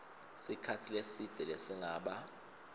sikhatsi lesidze lesingaba